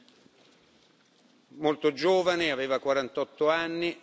Era molto giovane, aveva 48 anni.